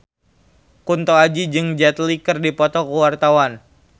Kunto Aji jeung Jet Li keur dipoto ku wartawan